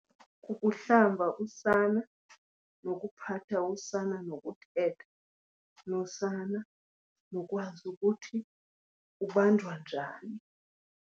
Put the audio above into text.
Kukuhlamba usana nokuphatha usana, nokuthetha nosana nokwazi ukuthi ubanjwa njani.